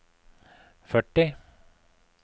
førti